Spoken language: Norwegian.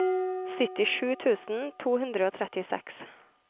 syttisju tusen to hundre og trettiseks